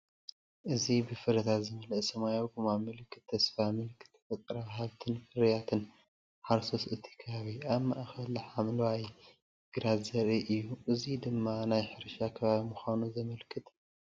እዚ ብፍረታት ዝመልአ ሰማያዊ ጎማ፡ ምልክት ተስፋ፡ ምልክት ተፈጥሮኣዊ ሃብትን ፍርያት ሓረስቶት እቲ ከባቢን፡ ኣብ ማእከል ሓምላይ ግራት ዘርኢ እዩ። እዚ ድማ ናይ ሕርሻ ከባቢ ምዃኑ ዘመልክት እዩ።